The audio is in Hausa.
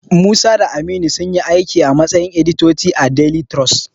Musa da Aminu sunyi aiki a matsayin editoti a daili tirus.